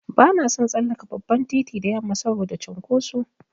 Bana son tsallaka babban titi da yamma saboda cunkoso.